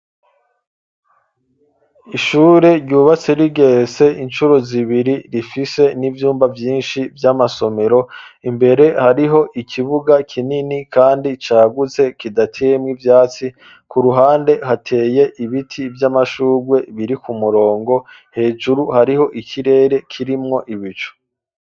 Ishure ryubatse rigeretsee inshuro zibiri rifise n'ivyumba vyinshi vy'amasomero imbere hariho ikibuga kinini kandi caguze kidatemwa ivyatsi ku ruhande hateye ibiti vy'amashugwe biri ku murongo hejuru hariho ikirere kirimwo ibicu.